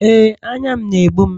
Ee, anya m na-egbum